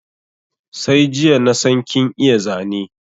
Sai jiya nasan kin iya Zane